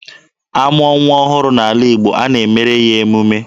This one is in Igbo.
A mụọ nwa ọhụrụ n'ala Igbo, a na-emere ya emume.